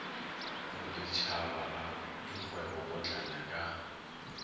boditšhaba a dikgwebo potlana ka